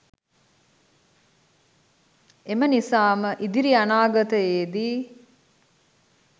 එම නිසාම ඉදිරි අනාගතයේදී